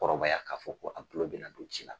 kɔrɔbaya k'a fɔ ko a kulon bena kun ci la